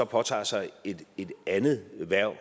påtager sig et andet hverv